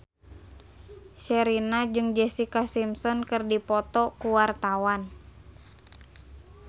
Sherina jeung Jessica Simpson keur dipoto ku wartawan